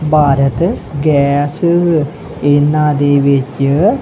Bharat Gas ਇਹਨਾਂ ਦੇ ਵਿੱਚ--